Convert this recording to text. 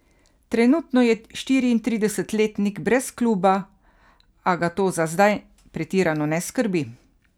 Trenutno je štiriintridesetletnik brez kluba, a ga to za zdaj pretirano ne skrbi.